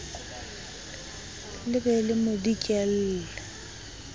le be le mo dikelle